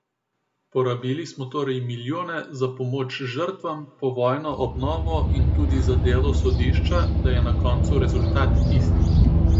Porabili smo torej milijone za pomoč žrtvam, povojno obnovo in tudi za delo sodišča, da je na koncu rezultat isti.